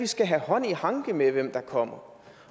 skal have hånd i hanke med hvem der kommer